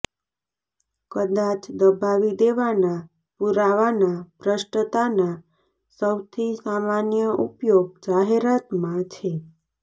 કદાચ દબાવી દેવાના પુરાવાના ભ્રષ્ટતાના સૌથી સામાન્ય ઉપયોગ જાહેરાતમાં છે